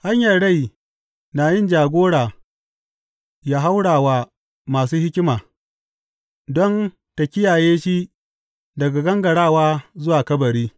Hanyar rai na yin jagora ya haura wa masu hikima don ta kiyaye shi daga gangarawa zuwa kabari.